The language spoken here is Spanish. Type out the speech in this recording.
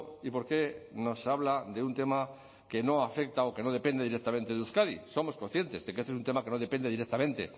y por qué nos habla de un tema que no afecta o que no depende directamente de euskadi somos conscientes de que este es un tema que no depende directamente